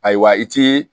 Ayiwa i t'i